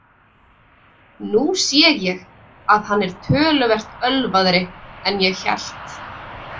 Nú sé ég að hann er töluvert ölvaðri en ég hélt.